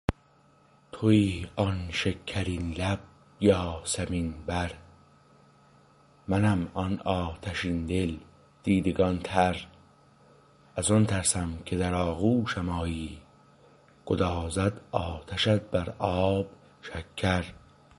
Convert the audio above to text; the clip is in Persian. تویی آن شکرین لب یاسمین بر منم آن آتشین دل دیدگان تر از آن ترسم که در آغوشم آیی گدازد آتشت بر آب شکر